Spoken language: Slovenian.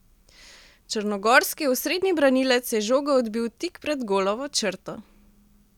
Črnogorski osrednji branilec je žogo odbil tik pred golovo črto.